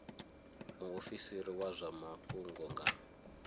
muofisiri wa zwa mafhungo nga